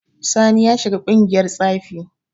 Sani ya shiga ƙungiyar tsafi.